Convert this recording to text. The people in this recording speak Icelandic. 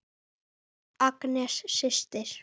Agnes systir.